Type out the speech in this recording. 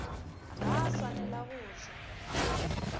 ga a swanela go ja